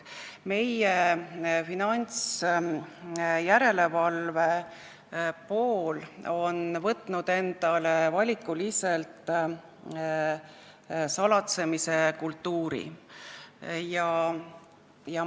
Meie finantsjärelevalve pool on valinud valikuliselt salatsemise kultuuri.